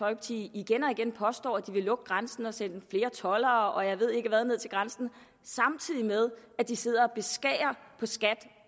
igen og igen påstår at de vil lukke grænsen og sende flere toldere og jeg ved ikke hvad ned til grænsen samtidig med at de sidder